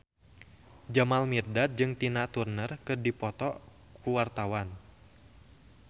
Jamal Mirdad jeung Tina Turner keur dipoto ku wartawan